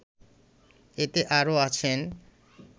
এতে আরও আছেন